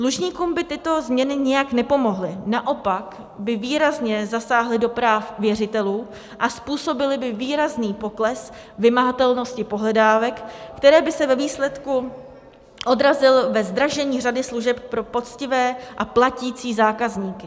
Dlužníkům by tyto změny nijak nepomohly, naopak by výrazně zasáhly do práv věřitelů a způsobily by výrazný pokles vymahatelnosti pohledávek, který by se ve výsledku odrazil ve zdražení řady služeb pro poctivé a platící zákazníky.